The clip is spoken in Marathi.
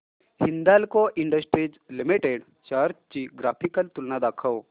हिंदाल्को इंडस्ट्रीज लिमिटेड शेअर्स ची ग्राफिकल तुलना दाखव